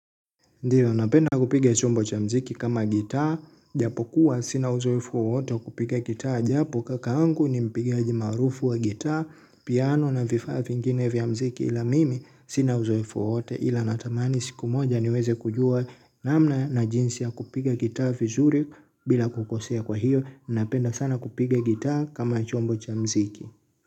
Ndio, napenda kupiga chombo cha mziki kama gitaa, japo kuwa sina uzoevu wowote kupiga gitaa, japo kaka yangu ni mpigaji maarufu wa gitaa, piano na vifaa vingine vya mziki ila mimi sina uzoefu wowote ila natamani siku moja niweze kujua namna na jinsi ya kupiga gitaa vizuri bila kukosea kwa hiyo, napenda sana kupiga gitaa kama chombo cha mziki.